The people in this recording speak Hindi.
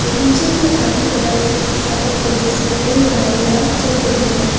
बगीचे के आगे तरफ एक सड़क है जिसमें कई गाड़ियां चल रही हैं।